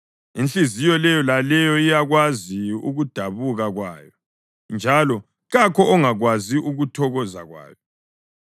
Inhliziyo leyo laleyo iyakwazi ukudabuka kwayo, njalo kakho ongakwazi ukuthokoza kwayo.